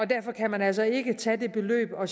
derfor kan man altså ikke tage det beløb og